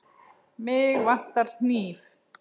Mig vantar hníf.